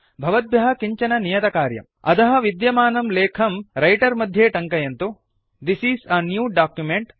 भवद्भ्यः किञ्चन नियतकार्यम् अधः विद्यमानं लेखं रैटर् मध्ये टङ्कयन्तु This is a new document